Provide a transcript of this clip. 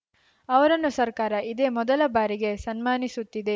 ಅವರನ್ನು ಸರ್ಕಾರ ಇದೇ ಮೊದಲ ಬಾರಿಗೆ ಸನ್ಮಾನಿಸುತ್ತಿದೆ